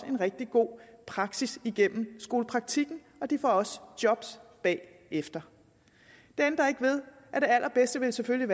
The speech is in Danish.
en rigtig god praksistræning gennem skolepraktikken og de får også job bagefter det ændrer ikke ved at det allerbedste selvfølgelig